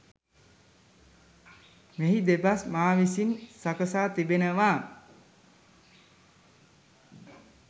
මෙහි දෙබස් මා විසින් සකසා තිබෙනවා.